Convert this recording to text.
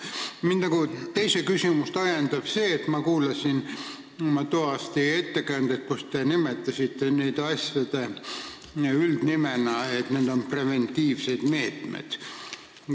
Minu teine küsimus on ajendatud sellest, et ma kuulasin toas teie ettekannet, kus te nimetasite neid asju üldnimetusena preventiivseteks meetmeteks.